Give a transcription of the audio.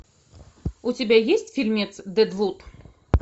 у тебя есть фильмец дедвуд